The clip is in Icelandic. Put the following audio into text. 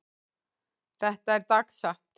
Þetta er dagsatt.